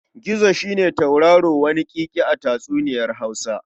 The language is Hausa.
Gizo shi ne tauraro waniƙiƙi a tatsuniyar Hausa.